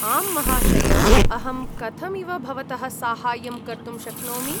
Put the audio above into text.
आम्, महाशय! अहं कथमिव भवतः साहाय्यं कर्तुं शक्नोमि।